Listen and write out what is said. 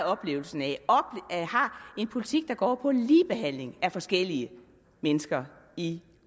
oplevelsen af har en politik der går på ligebehandling af forskellige mennesker i